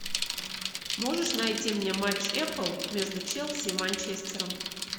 можешь найти мне матч апл между челси и манчестером